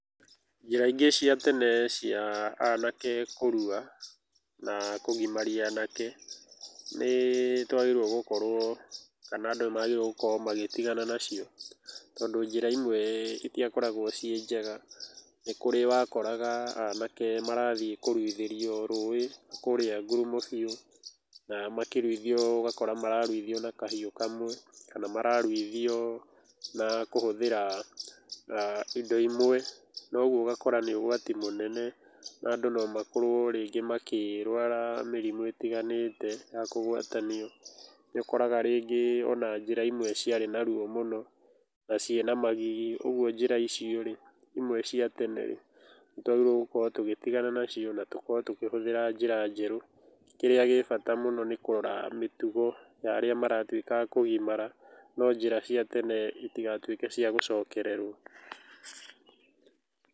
Njĩra ingĩ cia tene cia anake kũrua, na kũgimaria anake, nĩ twagĩrĩirwo gũkorwo kana andũ nĩ magĩrĩirwo gũkorwo magĩtigana nacio. Tondũ njĩra imwe itiakoragwo ciĩ njega. Nĩ kũrĩ wakoraga anake marathiĩ kũruithĩrio rũĩ kũrĩa ngurumo biũ, na makĩruithio ũgakora mararuithio na kahiũ kamwe, kana mararuithio na kũhũthĩra indo imwe, na ũguo ũgakora nĩ ũgwati mũnene na andũ nomakorwo rĩngĩ makĩrwara mĩrimũ ĩtiganĩte ya kũgwatanio. Nĩ ũkoraga rĩgĩ ona njĩra imwe ciarĩ na ruo mũno na ciĩna magigi, ũguo njĩra icio rĩ, imwe cia tenerĩ, nĩ twagĩrĩirwo gũkorwo tũgĩtigana nacio, na tũkorwo tũkĩhũthĩra njĩra njerũ. Kĩrĩa gĩ bata mũno nĩ kũrora mĩtugo ya arĩa maratuĩka a kũgimara, no njĩra cia tene itigatuĩke cia gũcokererwo.